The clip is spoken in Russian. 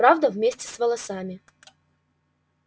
правда вместе с волосами